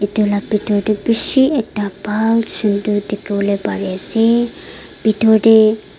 etu laga bithor tae bishi ekta bhal sundor dekhivo lae pari asa bithor tae.